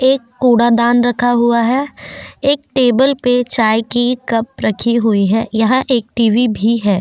एक कूड़ा दान रखा हुआ है एक टेबल पर चाय की कप रखी हुई है यहां एक टीवी भी है --